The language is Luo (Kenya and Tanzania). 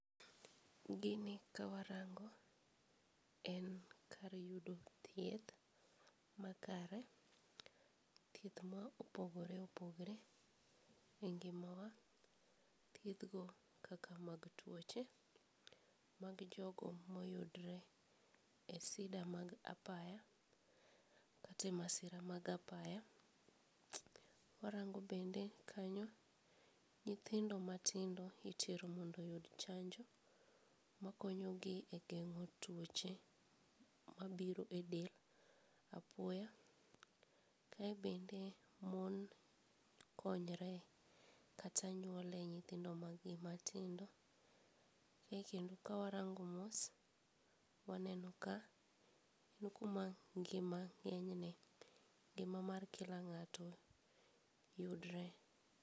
Gini ka warango, en kar yudo thieth makare, thieth ma opogore opogore e ngimawa, thiethgo kaka mag tuoche, mag jojo ma oyudre e sida mag apaya, kata e masira mag apaya, warango' bende kanyo nyithindo matindo itero mondo oyud chanjo makonyogi e gengo tuoche mabiro e del apoya, kae bende mon konyre kata nyuole nyithindo mag gi matindo , kae kendo ka warango mos waneno ka en kuma ngima ng'enyne ng'ima mar kila ng'ato yudre